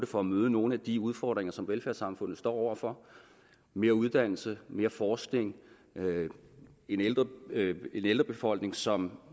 for at møde nogle af de udfordringer som velfærdssamfundet står over for mere uddannelse mere forskning og en ældrebefolkning som